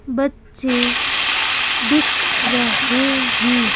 बच्चे दिख रहे हैं।